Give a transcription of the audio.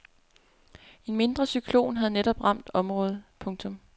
En mindre cyklon havde netop ramt området. punktum